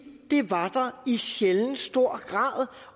det var der i sjældent stor grad